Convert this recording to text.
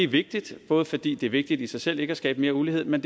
vigtigt både fordi det er vigtigt i sig selv ikke at skabe mere ulighed men